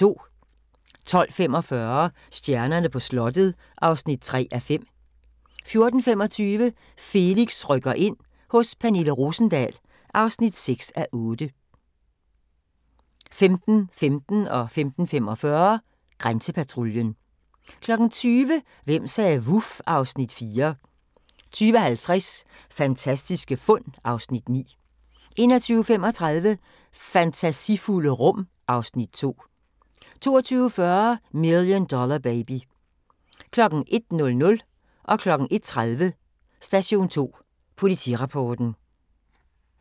12:45: Stjernerne på slottet (3:5) 14:25: Felix rykker ind – hos Pernille Rosendahl (6:8) 15:15: Grænsepatruljen 15:45: Grænsepatruljen 20:00: Hvem sagde vuf? (Afs. 4) 20:50: Fantastiske fund (Afs. 9) 21:35: Fantasifulde rum (Afs. 2) 22:40: Million Dollar Baby 01:00: Station 2 Politirapporten 01:30: Station 2 Politirapporten